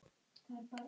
Ágúst Magni.